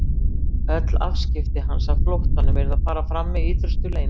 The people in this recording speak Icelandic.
Öll afskipti hans af flóttanum yrðu að fara fram með ítrustu leynd.